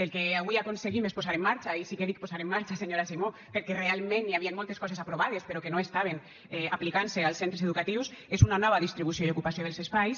el que avui aconseguim és posar en marxa i sí que dic posar en marxa senyora simó perquè realment hi havien moltes coses aprovades però que no estaven aplicant se als centres educatius una nova distribució i ocupació dels espais